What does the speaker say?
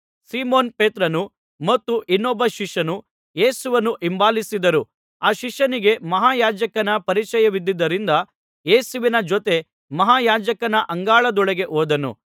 Simon ಪೇತ್ರನೂ ಮತ್ತು ಇನ್ನೊಬ್ಬ ಶಿಷ್ಯನೂ ಯೇಸುವನ್ನು ಹಿಂಬಾಲಿಸಿದರು ಆ ಶಿಷ್ಯನಿಗೆ ಮಹಾಯಾಜಕನ ಪರಿಚಯವಿದ್ದುದರಿಂದ ಯೇಸುವಿನ ಜೊತೆ ಮಹಾಯಾಜಕನ ಅಂಗಳದೊಳಗೆ ಹೋದನು